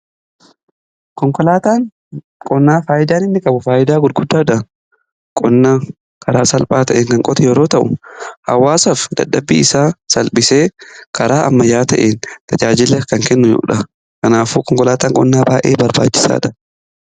Konkolaataan qonnaa faayidaa inni qabu faayidaa guddaadha. Qonnaa karaa salphaa ta'eenn kan qotu yeroo ta'u hawaasaf dadhabbii isaa salphisee karaa ammayyaa ta'een tajaajila kan kennudha. kanaafuu konkolaataan qonnaa baay'ee barbaachisaadha.